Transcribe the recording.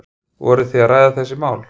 Voruð þið að ræða þetta mál?